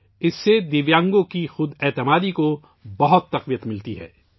اس سے معذور افراد کی خود اعتمادی کو کافی تقویت ملتی ہے